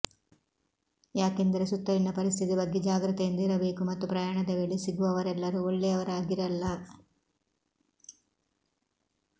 ಯಾಕೆಂದರೆ ಸುತ್ತಲಿನ ಪರಿಸ್ಥಿತಿ ಬಗ್ಗೆ ಜಾಗೃತೆಯಿಂದ ಇರಬೇಕು ಮತ್ತು ಪ್ರಯಾಣದ ವೇಳೆ ಸಿಗುವವರೆಲ್ಲರೂ ಒಳ್ಳೆಯವರಾಗಿರಲ್ಲ